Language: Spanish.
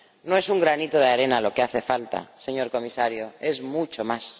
No es un granito de arena lo que hace falta, señor Comisario, es mucho más.